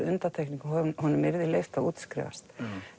undantekning og honum yrði leyft að útskrifast